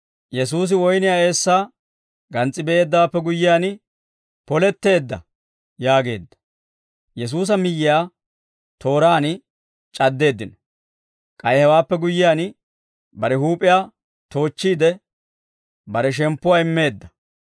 Yesuusi woyniyaa eessaa gans's'i be'eeddawaappe guyyiyaan, «Poletteedda» yaageedda. Yesuusa Miyyiyaa Tooraan C'addeeddino K'ay hewaappe guyyiyaan, bare huup'iyaa toochchiide, bare shemppuwaa immeedda.